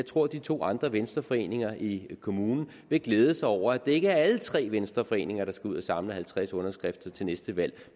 tror de to andre venstreforeninger i kommunen vil glæde sig over at det ikke er alle tre venstreforeninger der skal ud og samle halvtreds underskrifter til næste valg